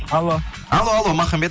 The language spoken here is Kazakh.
алло алло алло махамбет